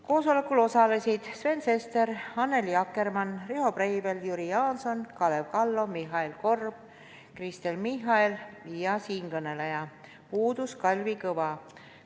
Koosolekul osalesid Sven Sester, Annely Akkermann, Riho Breivel, Jüri Jaanson, Kalev Kallo, Mihhail Korb, Kristen Michal ja siinkõneleja, puudus Kalvi Kõva.